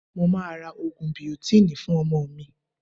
Mo máa ra Ògùn biotínì fún ọmọ mi.